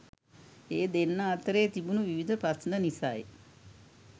ඒ දෙන්නා අතරේ තිබුණු විවිධ ප්‍රශ්න නිසයි